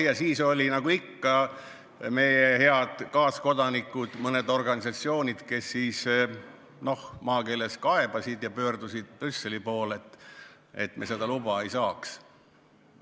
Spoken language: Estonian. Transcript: Ja siis, nagu ikka, juhtus see, et meie head kaaskodanikud, mõned organisatsioonid kaebasid ja pöördusid Brüsseli poole, et me seda luba ei saaks.